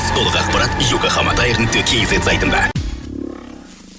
толық ақпарат йокохама таэр нүкте кз сайтында